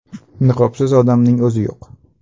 Niqobsiz odamning o‘zi yo‘q.